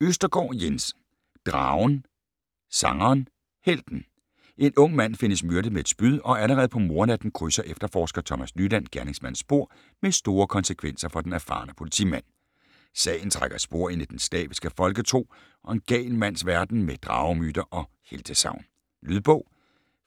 Østergaard, Jens: Dragen, sangeren, helten En ung mand findes myrdet med et spyd, og allerede på mordnatten krydser efterforsker Thomas Nyland gerningsmandens spor med store konsekvenser for den erfarne politimand. Sagen trækker spor ind i den slaviske folketro og en gal mands verden med dragemyter og heltesagn. Lydbog